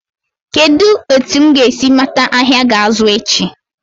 Kedụ etu m ga-esi mata ahịa ga-azụ echi?